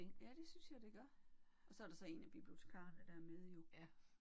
Ja det synes jeg det gør. Og så er der så en af bibliotekarerne der er med jo